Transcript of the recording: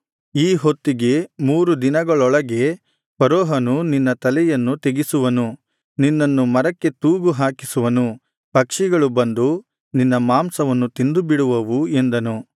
ಈ ಹೊತ್ತಿಗೆ ಮೂರು ದಿನಗಳೊಳಗೆ ಫರೋಹನು ನಿನ್ನ ತಲೆಯನ್ನು ತೆಗೆಸುವನು ನಿನ್ನನ್ನು ಮರಕ್ಕೆ ತೂಗು ಹಾಕಿಸುವನು ಪಕ್ಷಿಗಳು ಬಂದು ನಿನ್ನ ಮಾಂಸವನ್ನು ತಿಂದುಬಿಡುವವು ಎಂದನು